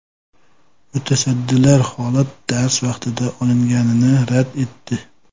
Mutasaddilar holat dars vaqtida olinganini rad etdi.